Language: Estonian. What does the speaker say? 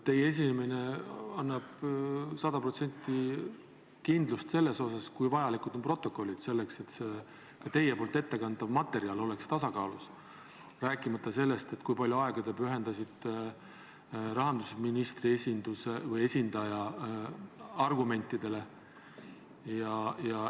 Teie esinemine annab sada protsenti kindlust, kuivõrd vajalikud on protokollid, et ka teie ettekantav materjal oleks tasakaalus, rääkimata sellest, kui palju aega te pühendasite rahandusministri esindaja argumentidele.